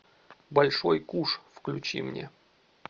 большой куш включи мне